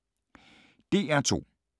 DR2